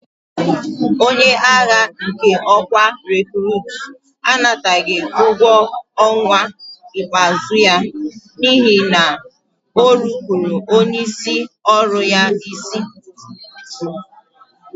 Onye agha nke ọkwa rekurutu anataghị ụgwọ ọnwa ikpeazụ ya n'ihi na o nupụụrụ onyeisi ọrụ ya isi.